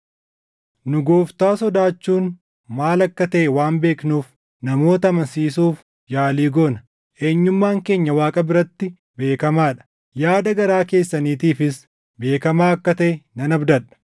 Nu Gooftaa sodaachuun maal akka taʼe waan beeknuuf namoota amansiisuuf yaalii goona. Eenyummaan keenya Waaqa biratti beekamaa dha; yaada garaa keessaniitiifis beekamaa akka taʼe nan abdadha.